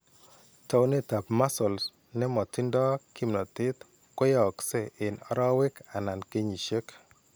Taunetap muscle ne motindo kimnatet koyaakse eng' arowek anan kenyisiek.